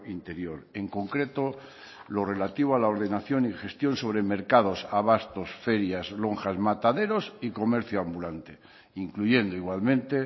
interior en concreto lo relativo a la ordenación y gestión sobre mercados abastos ferias lonjas mataderos y comercio ambulante incluyendo igualmente